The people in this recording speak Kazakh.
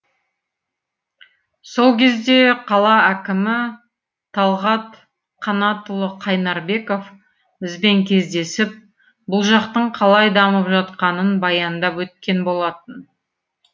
сол кезде қала әкімі талғат қанатұлы қайнарбеков бізбен кездесіп бұл жақтың қалай дамып жатқанын баяндап өткен болатын